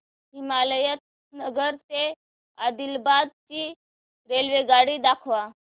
हिमायतनगर ते आदिलाबाद ची रेल्वेगाडी दाखवा